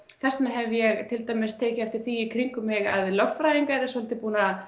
þess vegna hef ég til dæmis tekið eftir því í kringum mig að lögfræðingar hafa svolítið